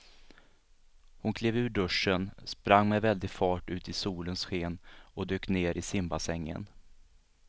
Hon klev ur duschen, sprang med väldig fart ut i solens sken och dök ner i simbassängen.